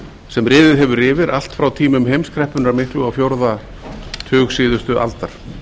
sem riðið hefur yfir allt frá tímum heimskreppunnar miklu á fjórða tug síðustu aldar